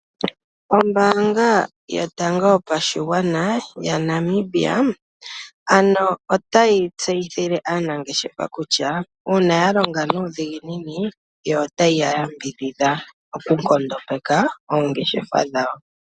Ombaanga yotango yopashigwana ya Namibia ano otayi tseyithile aanangeshefa kutya uuna ya longa nuudhiginini yo otayiya yambidhidha oku nkondopeka oongeshefa dhawo.